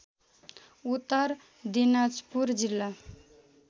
उत्तर दिनाजपुर जिल्ला